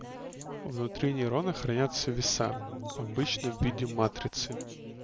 внутри нейроны хранятся веса обычно в виде матрицы